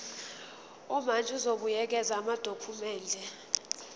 umantshi uzobuyekeza amadokhumende